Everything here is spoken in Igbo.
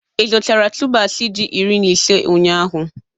Ị zụtara tubers ji iri na ise ụnyahụ?